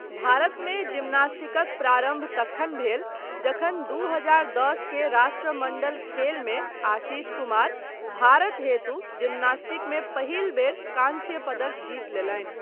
भारतमे जिम्नास्टिकक प्रारम्भ तखन भेल जखन दू हजार दश के राष्ट्रमण्डल खेलमे आशीष कुमार भारत हेतु जिम्नास्टिकमे पहिल बेर कांस्य पदक जीत लेलनि।